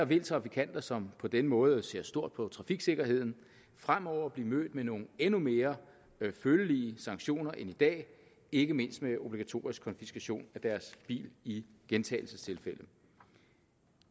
vil trafikanter som på denne måde ser stort på trafiksikkerheden fremover bliver mødt med nogle endnu mere følelige sanktioner end i dag ikke mindst med obligatorisk konfiskation af deres bil i gentagelsestilfælde